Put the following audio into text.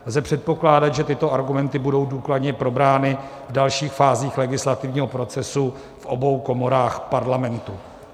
Lze předpokládat, že tyto argumenty budou důkladně probrány v dalších fázích legislativního procesu v obou komorách Parlamentu.